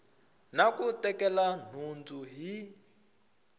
na ku tekela nhundzu hi